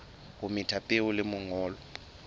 o metha peo le manyolo